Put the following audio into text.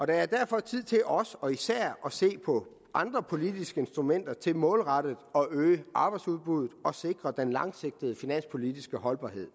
er derfor tid til også og især at se på andre politiske instrumenter til målrettet at øge arbejdsudbuddet og sikre den langsigtede finanspolitiske holdbarhed